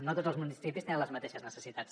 no tots els municipis tenen les mateixes necessitats